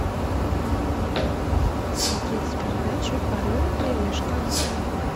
смотреть передачу орел и решка